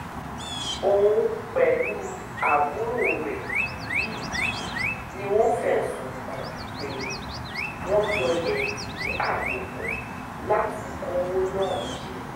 òun pẹ̀lú àbúrò rẹ̀ yìí ni wọ́n fẹ̀sùn kàn pé wọ́n jọ lẹ̀dí àpò pọ̀ láti kọ́wó náà jẹ